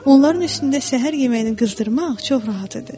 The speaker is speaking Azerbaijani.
Onların üstündə səhər yeməyinin qızdırmaq çox rahat idi.